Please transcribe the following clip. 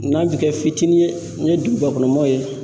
N'a bi kɛ fitinin ye n ye duguba kɔnɔ mɔgɔw ye